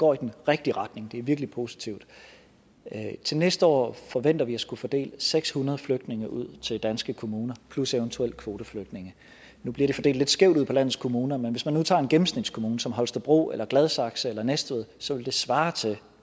går i den rigtige retning det er virkelig positivt til næste år forventer vi at skulle fordele seks hundrede flygtninge ud til danske kommuner plus eventuelt kvoteflygtninge nu bliver de fordelt lidt skævt ud på landets kommuner men hvis man nu tager en gennemsnitskommune som holstebro gladsaxe eller næstved så vil det svare til